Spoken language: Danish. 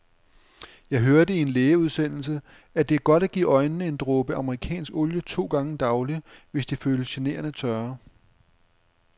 Jeg hørte i en lægeudsendelse, at det er godt at give øjnene en dråbe amerikansk olie to gange daglig, hvis de føles generende tørre.